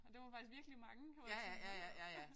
Og det var faktisk virkelig mange hvor jeg var sådan hold da op